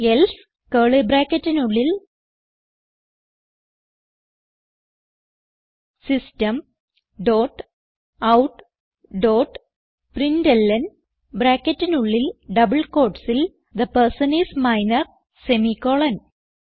else curly ബ്രാക്കറ്റിനുള്ളിൽ system dot out dot println ബ്രാക്കറ്റിനുള്ളിൽ double quotesൽ the person I S minor semi colon